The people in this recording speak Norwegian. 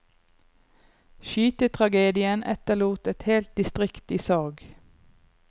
Skytetragedien etterlot et helt distrikt i sorg.